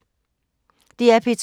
DR P2